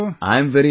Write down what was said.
I am very happy